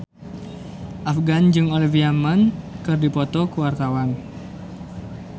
Afgan jeung Olivia Munn keur dipoto ku wartawan